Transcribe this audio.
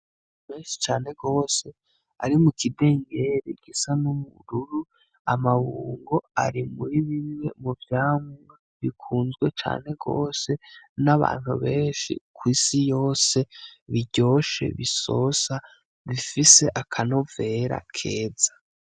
Menshi cane gose ari mu kidengeri gisa n'ubururu, amabungo ari mu ribimwe mu vyamwa bikunzwe cane gose n'abantu benshi kwisi yose biryoshe bisosa bifise akanovera keza.